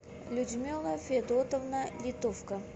людмила федотовна литовка